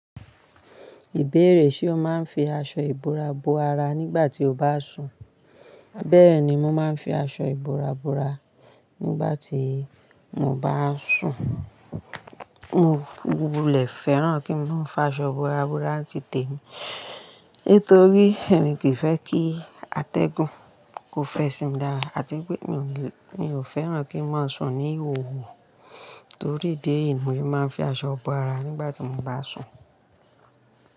Ìbéèrè ṣe ó máa ń fi aṣọ ìbora bo ara nígbà tí o bá sùn? Bẹ́ẹ̀ni, mo máa ń fi aṣọ ìbora bora nígbà tí mo bá sùn. Mo lẹ̀ fẹ́ràn kí n fi aṣọ ìbora bora ti tèmi. Nítorí èmi kì í fẹ́ kí atẹ́gùn kó fẹsì mi lára àti pé mi ò fẹ́ràn kí n máa sùn ní òwú. Torí ìdí yi, ni mo máa ń fi aṣọ bo ara nígbà tí mo bá sùn.